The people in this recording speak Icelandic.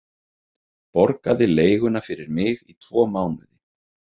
Borgaði leiguna fyrir mig í tvo mánuði.